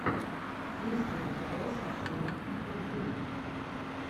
есть ли у тебя смешные интервью